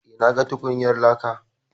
Eh, na ga tukunyar laka.